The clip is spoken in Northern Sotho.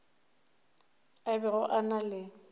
a bego a na le